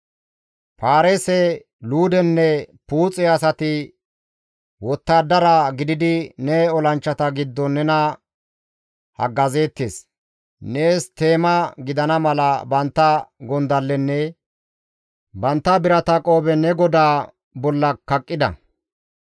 «Paarise, Luudenne Puuxe asati wottadara gididi ne olanchchata giddon nena haggazeettes; nees teema gidana mala bantta gondallenne bantta birata qoobe ne godaa bolla kaqqida.